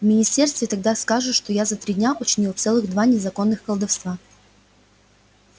в министерстве тогда скажут что я за три дня учинил целых два незаконных колдовства